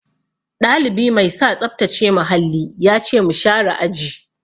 Ɗalibi mai sa tsaftace muhalli ya ce mu share aji.